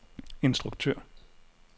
instruktør